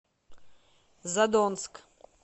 задонск